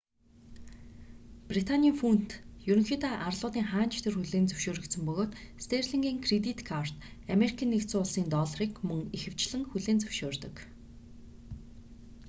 британийн фунт ерөнхийдөө арлуудын хаана ч тэр хүлээн зөвшөөрөгдсөн бөгөөд стэнлигийн кредит карт америкийн нэгдсэн улсын долларыг мөн ихэвчлэн хүлээн зөвшөөрдөг